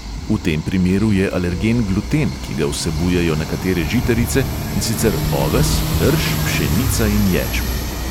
V tem primeru je alergen gluten, ki ga vsebujejo nekatere žitarice, in sicer oves, rž, pšenica in ječmen.